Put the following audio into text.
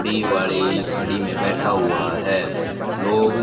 बड़ी वाली गाड़ी में बैठा हुआ है लोग--